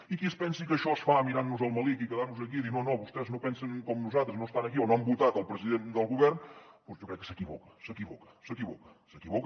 i qui es pensi que això es fa mirant nos el melic i quedar nos aquí i dir no no vostès no pensen com nosaltres no estan aquí o no han votat el president del govern doncs jo crec que s’equivoca s’equivoca s’equivoca